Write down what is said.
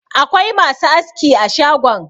Akwai masu aski a shagon.